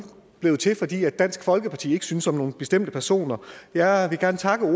blevet til fordi dansk folkeparti ikke synes om nogle bestemte personer jeg vil gerne takke